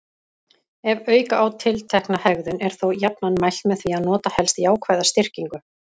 Ef auka á tiltekna hegðun er þó jafnan mælt með að nota helst jákvæða styrkingu.